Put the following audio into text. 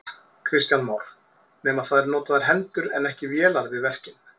Kristján Már: Nema það eru notaðar hendur en ekki vélar við verkin?